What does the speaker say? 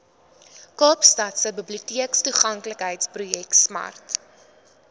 kaapstadse biblioteektoeganklikheidsprojek smart